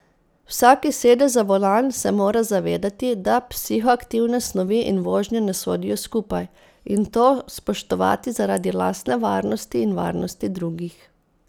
Vsak, ki sede za volan, se mora zavedati, da psihoaktivne snovi in vožnja ne sodijo skupaj, in to spoštovati zaradi lastne varnosti in varnosti drugih.